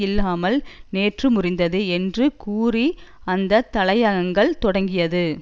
இல்லாமல் நேற்று முறிந்தது என்று கூறி அந்த தலையங்கள் தொடங்கியது